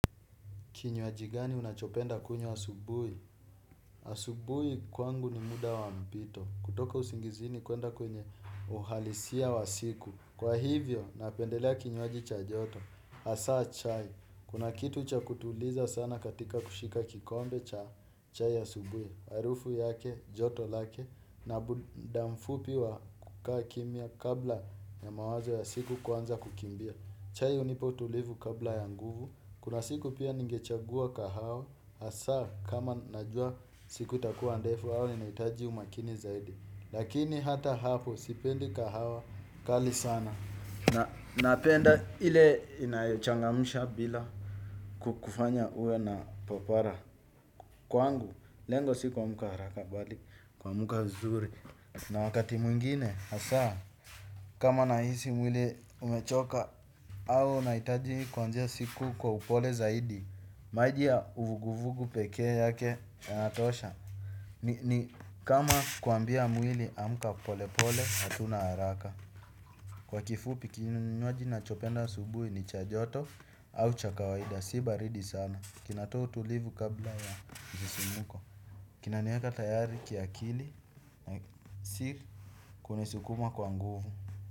Kinywaji gani unachopenda kunywa asubuhi? Asubuhi kwangu ni muda wa mpito. Kutoka usingizini kuenda kwenye uhalisia wa siku. Kwa hivyo, napendelea kinywaji cha joto. Hasa chai. Kuna kitu cha kutuliza sana katika kushika kikombe cha chai asubuhi. Harufu yake, joto lake. Na mda mfupi wa kukaa kimya kabla ya mawazo ya siku kuanza kukimbia. Chai hunipa utulivu kabla ya nguvu. Kuna siku pia ningechagua kahawa hasaa kama najua siku itakuwa ndefu au inahitaji umakini zaidi. Lakini hata hapo sipendi kahawa kali sana. Napenda ile inayochangamsha bila kukufanya uwe na papara. Kwangu, lengo si kuamka haraka bali, kuamka vizuri. Na wakati mwingine hasa kama nahisi mwili umechoka au nahitaji kuanzia siku kwa upole zaidi maji ya vuguvugu pekee yake yanatosha. Ni kama kuambia mwili amka pole pole hatuna haraka. Kwa kifupi kinywaji nachopenda asubuhi ni cha joto au cha kawaida si baridi sana. Kinatoa utulivu kabla ya msisimko. Kinaniweka tayari kiakili si kunisukuma kwa nguvu.